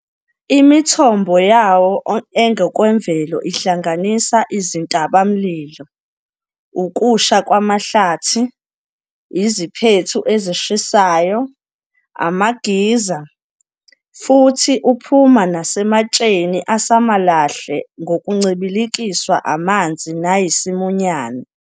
Imithombo yawo engokwemvelo ihlanganisa izintaba-mlilo, ukusha kwamahlathi, iziphethu ezishisayo, ama-geyser, futhi uphuma nasematsheni asamCalahle ngokuncibilikiswa amanzi nayisimunyane.